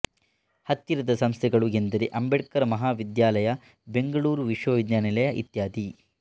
ಹತ್ತಿರದ ಸಂಸ್ಥೆಗಳು ಎಂದರೆ ಅಂಬೇಡ್ಕರ್ ಮಹಾವಿಧ್ಯಾಲಯ ಬೆಂಗಳೂರು ವಿಶ್ವವಿಧ್ಯಾನಿಲಯ ಇತ್ಯಾದಿ